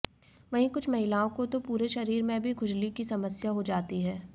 वहीं कुछ महिलाओं को तो पूरे शरीर में भी खुजली की समस्या हो जाती है